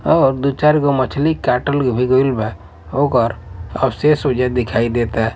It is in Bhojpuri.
और दु चार गो मछली क़तल भी गइल बा ओकर अवशेष भी ओह जग दिखाई देत --